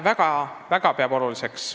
Peame seda väga-väga oluliseks.